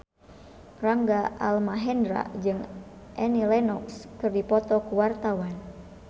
Rangga Almahendra jeung Annie Lenox keur dipoto ku wartawan